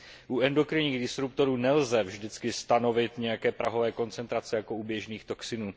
U endokrinních disruptorů nelze vždycky stanovit nějaké prahové koncentrace jako u běžných toxinů.